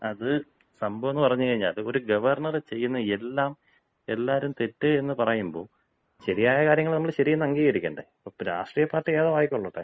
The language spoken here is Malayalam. അത് സംഭവമെന്ന് പറഞ്ഞ് കഴിഞ്ഞാല് ഒരു ഗവർണർ ചെയ്യുന്നതെല്ലാം എല്ലാവരും തെറ്റ് എന്ന് പറയുമ്പോ, ശരിയായ കാര്യങ്ങൾ നമ്മൾ ശരിയെന്ന് അംഗീകരിക്കണ്ടേ? ഇപ്പൊ രാഷ്ട്രീയപാർട്ടി ഏതോ ആയിക്കൊള്ളട്ടെ.